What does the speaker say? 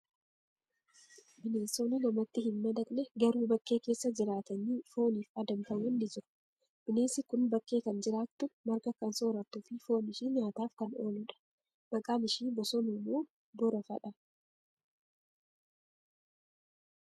Bineensonni namatti hin madaqne, garuu bakkee keessa jiraatanii fooniif adamfaman ni jiru. Bineensi kun bakkee kan jiraattu, marga kan soorattuu fi foon ishii nyaataaf kan oolu dha. Maqaan ishii bosonuu moo borofadha?